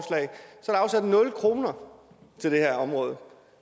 der er afsat nul kroner til det her område